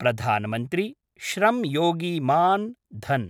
Pradhan Mantri Shram Yogi Maandhan